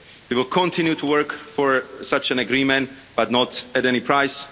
We will continue to work for such an agreement, but not at any price.